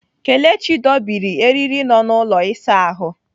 Kelechi dobiri eriri nọ n'ụlọ ịsa ahụ.